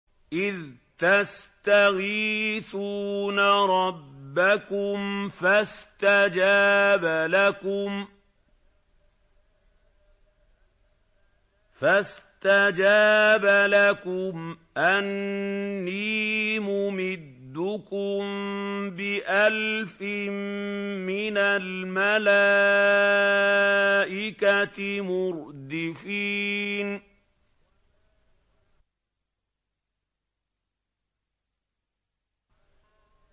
إِذْ تَسْتَغِيثُونَ رَبَّكُمْ فَاسْتَجَابَ لَكُمْ أَنِّي مُمِدُّكُم بِأَلْفٍ مِّنَ الْمَلَائِكَةِ مُرْدِفِينَ